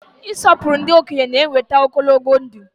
Ị sọpụrụ ndị okenye na-eweta ogologo ndụ.